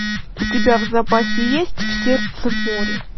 у тебя в запасе есть в сердце моря